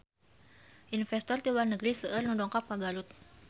Investor ti luar negeri seueur nu dongkap ka Garut